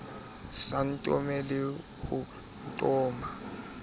sa ntome le ho ntoma